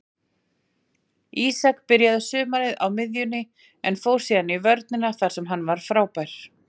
Ísak byrjaði sumarið á miðjunni en fór síðan í vörnina þar sem hann var frábær.